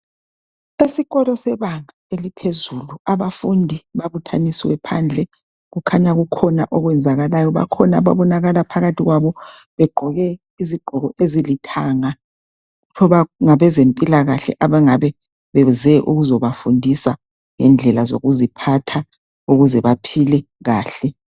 Esikolo sebanga eliphezulu, abafundi babuthanisiwe phandle kukhanya kukhona okwenzakalayo . Bakhona ababonakala phakathi kwabo begqoke izigqoko ezilithanga . Ngabezempilakahle abangabe beze ukuzebafundisa ngendlela zokuziphatha ukuze baphile kahle.